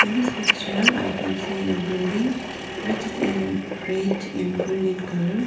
this picture i can see a building with it in red and green in colour.